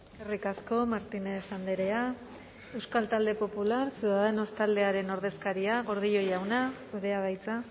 eskerrik asko martínez andrea euskal talde popular ciudadanos taldearen ordezkaria gordillo jauna zurea da hitza